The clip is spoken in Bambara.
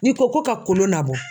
N'i ko ko ka kolo labɔ.